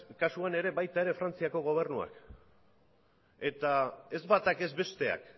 kasuan ere frantziako gobernuak eta ez batak ez besteak